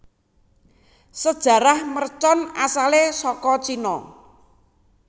Sejarah mercon asalé saka Cina